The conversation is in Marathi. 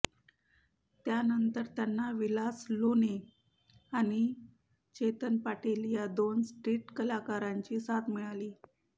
त्यानंतर त्यांना विलास लोणे आणि चेतन पाटील या दोन स्ट्रीट कलाकारांची साथ मिळाली